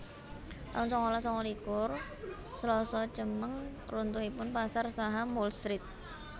taun sangalas sanga likur Slasa Cemeng runtuhipun pasar saham Wall Street